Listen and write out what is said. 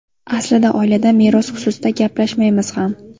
Aslida oilada meros xususida gaplashmaymiz ham.